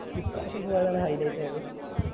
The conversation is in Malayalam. ഈ പ്രാവിശ്യം പോയതാണ് highlight ആയത്